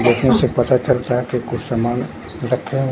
देखने से पता चल रहा है कि कुछ सामान रखें--